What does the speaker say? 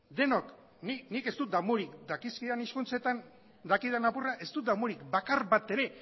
nik dakizkidan hizkuntzatan dakidan apurra ez dut damurik bakar bat ere